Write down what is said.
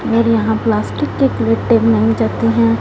और यहां प्लास्टिक के प्लेटें बनाई जाती हैं।